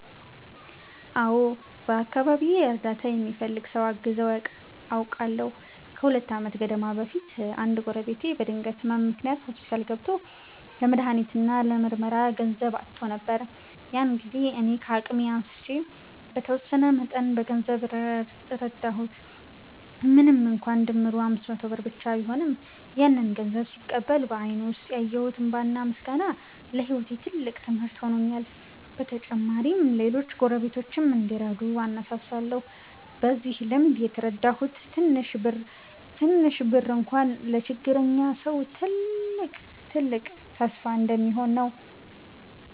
አዎ፣ በአካባቢዬ እርዳታ የሚፈልግ ሰው አግዘው አውቃለሁ። ከሁለት ዓመት ገደማ በፊት አንድ ጎረቤቴ በድንገት ህመም ምክንያት ሆስፒታል ገብቶ ለመድሃኒት እና ለምርመራ ገንዘብ አጥቶ ነበር። ያን ጊዜ እኔ ከአቅሜ አንስቼ በተወሰነ መጠን በገንዘብ ረዳሁት። ምንም እንኳን ድምሩ 500 ብር ብቻ ቢሆንም፣ ያንን ገንዘብ ሲቀበል በአይኑ ውስጥ ያየሁት እንባና ምስጋና ለህይወቴ ትልቅ ትምህርት ሆኖልኛል። በተጨማሪም ሌሎች ጎረቤቶችም እንዲረዱ አነሳሳሁ። በዚህ ልምዴ የተረዳሁት ትንሽ ብር እንኳ ለችግረኛ ሰው ትልቅ ተስፋ እንደሚሆን ነው።